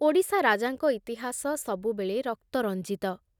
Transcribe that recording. ଓଡ଼ିଶା ରାଜାଙ୍କ ଇତିହାସ ସବୁବେଳେ ରକ୍ତରଞ୍ଜିତ ।